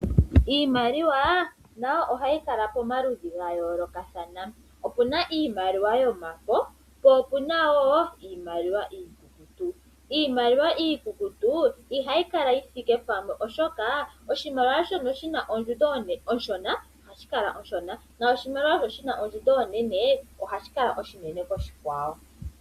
Iimaliwa nayo oha yi kala pamaludhi gayoolokathana, opena iimaliwa yomafo, po opuna woo iimaliwa iikukutu. Iimaliwa iikukutu iha yi kala yithiike pamwe oshoka oshimaliwa shono shina ondjundo oshona ohashi kala oshishona noshimaliwa shono shina ondjundo onene ohashi kala oshinene koshikwawo.